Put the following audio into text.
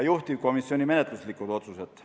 Juhtivkomisjoni menetluslikud otsused.